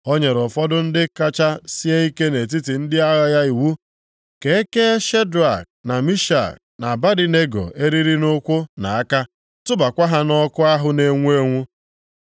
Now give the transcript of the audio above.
Ọ nyere ụfọdụ ndị kacha sie ike nʼetiti ndị agha ya iwu ka e kee Shedrak, na Mishak, na Abednego eriri nʼụkwụ na aka, tụbakwa ha nʼọkụ ahụ na-enwu enwu.